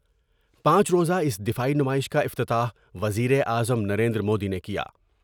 پانچ روزہ اس دفاعی نمائش کا افتتاح وزیر اعظم نریندرمودی نے کیا ۔